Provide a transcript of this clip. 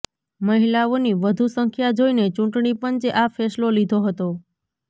મહિલાઓની વધુ સંખ્યા જોઈને ચૂંટણી પંચે આ ફેસલો લીધો હતો